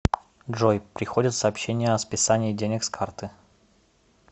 джой приходят сообщения о списании денег с карты